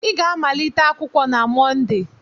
ị ga-amalite akwụkwọ na Mọnde!